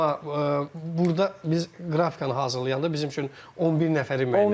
Amma burda biz qrafikanı hazırlayanda bizim üçün 11 nəfəri müəyyən etmişik.